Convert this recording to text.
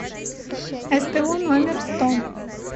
сто номер сто